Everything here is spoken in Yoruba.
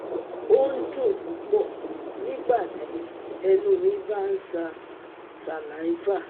O n dun pupọ nigbati ẹnu mi ba n ṣa saliva